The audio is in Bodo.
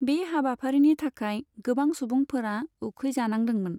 बे हाबाफारिनि थाखाय गोबां सुबुंफोरा उखैजानांदोंमोन।